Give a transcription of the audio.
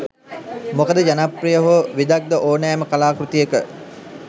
මොකද ජනප්‍රිය හෝ විදග්ධ හෝ ඕනෑම කලාකෘතියක